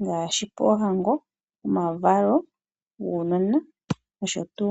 ngaashi poohango, omavalo guunona nosho tuu